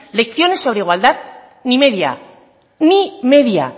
lecciones sobre igualdad ni media ni media